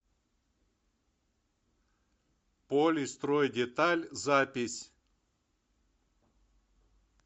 полистройдеталь запись